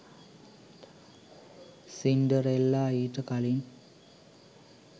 Cinderella ඊට කලින්